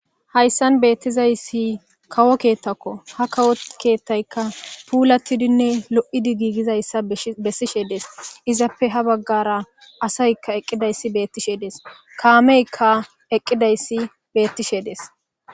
Hayssan beettizayssi kawo keettakkoha. Kawo keethtaykka puulattidinne lo'idi giigizayssa bessishe dees. Izappe ha baggara asaykka eqqidayssi beettishe dees. kaameykka eqqidayssi beettishe dees.